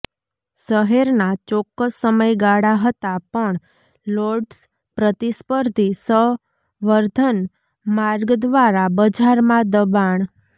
શહેરના ચોક્કસ સમયગાળા હતા પણ લોર્ડ્સ પ્રતિસ્પર્ધી સંવર્ધન માર્ગ દ્વારા બજારમાં દબાણ